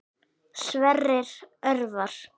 Sverrir Örvar.